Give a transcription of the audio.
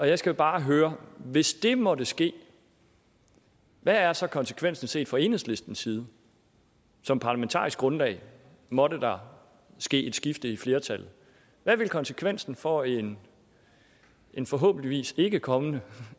jeg skal bare høre hvis det måtte ske hvad er så konsekvensen set fra enhedslistens side som parlamentarisk grundlag måtte der ske et skifte i flertallet hvad vil konsekvensen for en en forhåbentlig ikkekommende